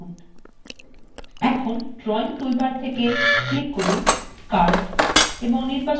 এখন drawing toolbar থেকে click করুন curve এবং নির্বাচন করুন curve